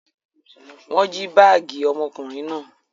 Wọ́n jí báágì ọmọkùnrin náà.